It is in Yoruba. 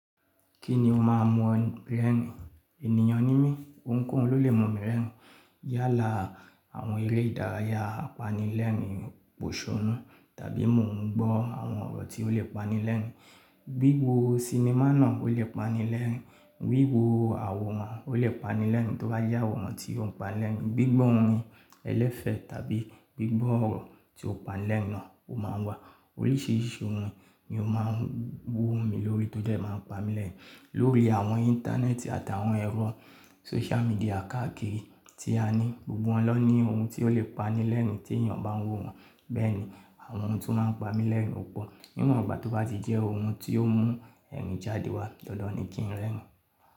Kí ni o máa mọ̀ brain? Ènìyàn ní mí, ohunkóhun ló lè mọ̀ mi rerin. Yálà àwọn eré ìdárayá apanilẹ́ẹ̀rìn òṣònú tàbí mò ń gbọ́ àwọn ọ̀rọ̀ tí ó lè pani lẹ́ẹ̀rìn. Wiwo sinimá náà ó lè pani lẹ́ẹ̀rìn, wiwo àwòrán ó lè pani lẹ́ẹ̀rìn, tó bá jẹ́ àwòrán tí ó ń pa lẹ́ẹ̀rìn. Gbigbọ́ ohun ẹlẹ́fẹ́ tàbí gbigbọ́ ọ̀rọ̀ tí ó pa lẹ́ẹ̀rìn náà ó máa wà. Gbigbọ́ ohun ẹlẹ́fẹ́ tàbí gbigbọ́ ọ̀rọ̀ tí ó pa lẹ́ẹ̀rìn náà ó máa wà. Wiwo sinimá náà ó lè pani lẹ́ẹ̀rìn, wiwo àwòrán ó lè pani lẹ́ẹ̀rìn, tó bá jẹ́ àwòrán tí ó ń pa lẹ́ẹ̀rìn. Beni awọn ohun to ma un pami leerin o po ni won gbà ti o baje òun ti o mu eerin jáde wá dandan ni ki eniyan rerin.